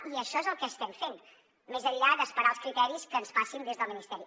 i això és el que estem fent més enllà d’esperar els criteris que ens passin des del ministeri